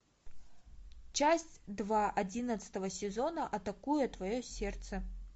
часть два одиннадцатого сезона атакуя твое сердце